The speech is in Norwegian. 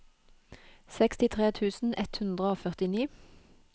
sekstitre tusen ett hundre og førtini